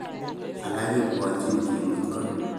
Alak kebwotchin kemut ko